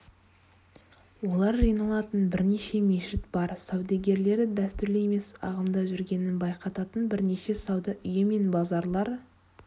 олар жиналатын бірнеше мешіт бар саудагерлері дәстүрлі емес ағымда жүргенін байқататын бірнеше сауда үйі мен базарлар